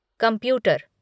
computer